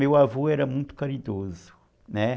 Meu avô era muito caridoso, né?